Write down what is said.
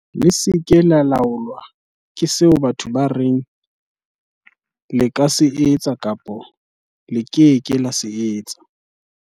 "Le se ke la laolwa ke seo batho ba reng le ka se etsa kapa le ke ke la se etsa."